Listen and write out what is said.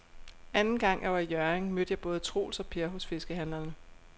Anden gang jeg var i Hjørring, mødte jeg både Troels og Per hos fiskehandlerne.